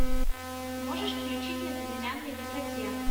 можешь включить на безымянной высоте